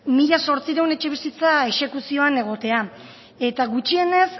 mila zortziehun etxebizitza exekuzioan egotea eta gutxienez